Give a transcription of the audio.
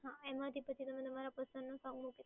એમાં જે પછી તમે તમારા પસંદની સોંગ મૂકો